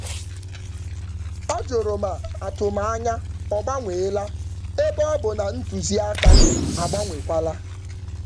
Ọ jụrụ ma atụmanya agbanweela ebe nduzi mbụ dị iche.